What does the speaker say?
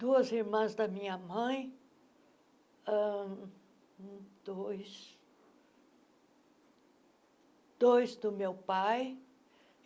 duas irmãs da minha mãe, ãh dois dois do meu pai.